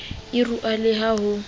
e rua le ha ho